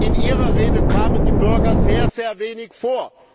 In Ihrer Rede kamen die Bürger sehr, sehr wenig vor.